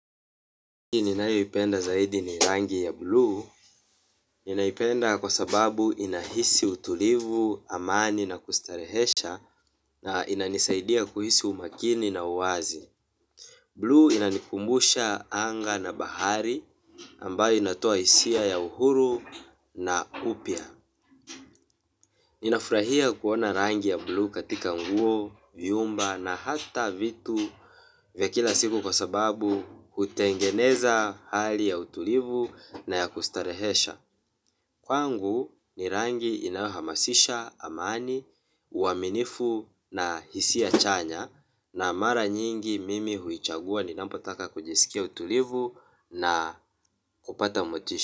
Rangi ninaipenda zaidi ni rangi ya bluu. Ninaipenda kwa sababu inahisi utulivu, amani na kustarehesha. Na inanisaidia kuhisi umakini na uwazi. Bluu inanikumbusha anga na bahari ambayo inatoa hisia ya uhuru na upya. Ninafurahia kuona rangi ya bluu katika nguo, vyumba na hata vitu vya kila siku kwa sababu hutengeneza hali ya utulivu na ya kustarehesha. Kwangu ni rangi inayohamasisha, amani, uaminifu na hisia chanya. Na mara nyingi mimi huichagua ninapotaka kujisikia utulivu na kupata motisha.